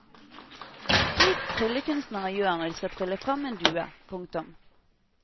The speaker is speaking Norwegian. Slik tryllekunstnere gjør når de skal trylle frem en due. punktum